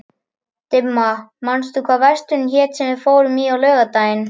Dimma, manstu hvað verslunin hét sem við fórum í á laugardaginn?